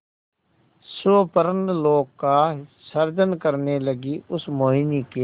स्वप्नलोक का सृजन करने लगीउस मोहिनी के